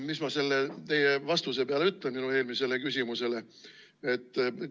Mis ma selle teie vastuse peale ütlen, mis te minu eelmisele küsimusele andsite?